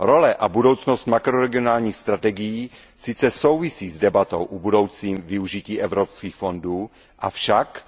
Role a budoucnost makroregionálních strategií sice souvisí s debatou o budoucím využití evropských fondů, avšak